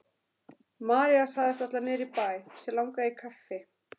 María sagðist ætla niður í bæ, sig langaði í kaffi.